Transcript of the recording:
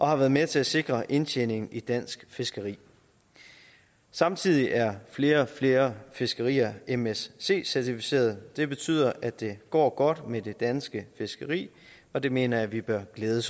har været med til at sikre indtjeningen i dansk fiskeri samtidig er flere og flere fiskerier msc certificerede det betyder at det går godt med det danske fiskeri og det mener jeg vi bør glæde